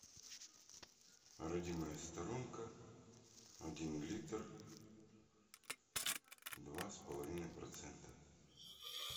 родимая сторонка один литр два с половиной процента